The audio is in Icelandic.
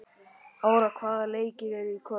Ára, hvaða leikir eru í kvöld?